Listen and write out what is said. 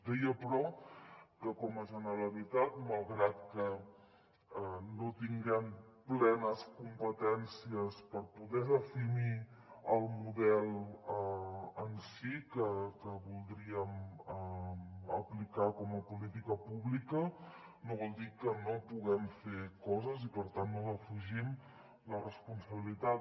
deia però que com a generalitat malgrat que no tinguem plenes competències per poder definir el model en si que voldríem aplicar com a política pública no vol dir que no puguem fer coses i per tant no defugim la responsabilitat